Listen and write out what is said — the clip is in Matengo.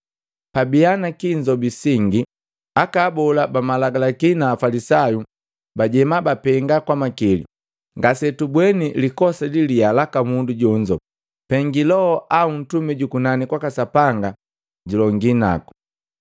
Pabiya na kiinzobi singi, aka abola bamalagalaki na Afalisayu bajema bapenga kwa makili, “Ngasetubwemi likosa liliyaa laka mundu jonzo, pengi loho au mtumi jukunani kwaka Sapanga julongi naku.”